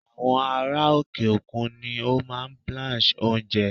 Àwọn ará òkè-òkun ni ó máa ń blanch oúnjẹ.